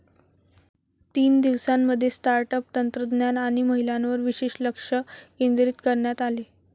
तीन दिवसांमध्ये startup, तंत्रज्ञान आणि महिलांवर विशेष लक्ष केंद्रित करण्यात आले.